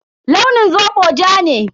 Launin zobo ja ne.